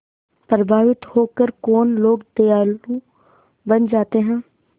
प्रभावित होकर कौन लोग दयालु बन जाते हैं